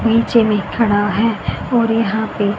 नीचे में खड़ा है और यहां पे--